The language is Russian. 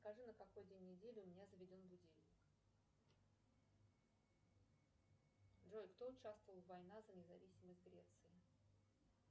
скажи на какой день недели у меня заведен будильник джой кто участвовал в война за независимость греции